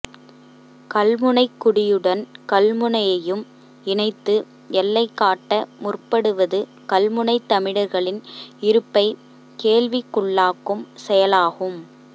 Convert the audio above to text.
கல்முனைக்குடியுடன் கல்முனையையும் இணைத்து எல்லை காட்ட முற்படுவது கல்முனைத் தமிழர்களின் இருப்பைக் கேள்விக்குள்ளாக்கும் செயலாகும்